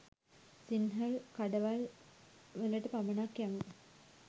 සින්හල කඩවල් වලට පමණක් යමු